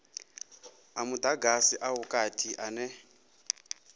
a mudagasi a vhukati ane